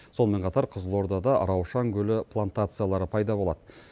сонымен қатар қызылордада раушан гүлі плантациялары пайда болады